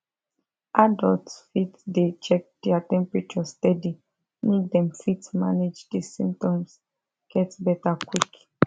adults fit dey check their temperature steady make dem fit manage di symptoms get beta quick